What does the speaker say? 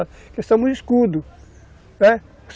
Nós somos escudos, né?